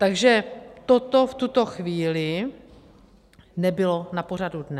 Takže toto v tuto chvíli nebylo na pořadu dne.